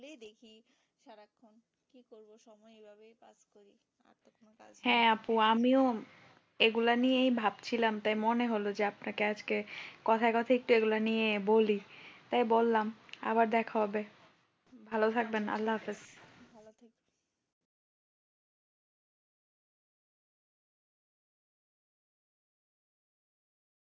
হ্যাঁ আপু আমিও এগুলা নিয়েই ভাবছিলাম তাই মনে হলো যে আপনাকে আজকে কথাই কথাই একটু এগুলা নিয়ে বলি তাই বললাম আবার দেখা হবে ভালো থাকবেন আল্লা হাফিজ।